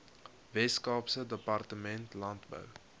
weskaapse departement landbou